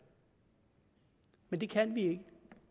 men det kan vi ikke